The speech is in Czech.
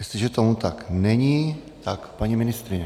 Jestliže tomu tak není, tak paní ministryně.